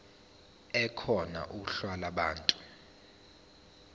ekhona uhla lwabantu